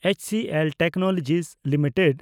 HCL technology limited